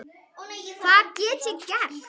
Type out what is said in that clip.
Hvað gat ég gert?